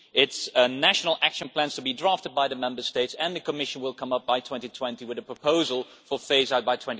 It is a national action plan to be drafted by the Member States, and the Commission will come up by 2020 with a proposal for phase out by